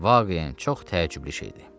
Vaqeyən çox təəccüblü şeydi.